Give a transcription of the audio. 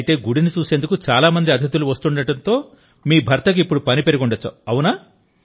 అయితే గుడిని చూసేందుకు చాలా మంది అతిథులు వస్తుండడంతో మీ భర్తకు ఇప్పుడు పని పెరిగి ఉండవచ్చు